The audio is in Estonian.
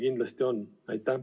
Kindlasti on!